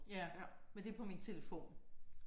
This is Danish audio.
Ja men det er på min telefon